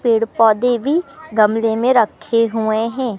पेड़ पौधे भी गमले में रखे हुए हैं।